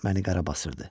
Məni qarı basırdı.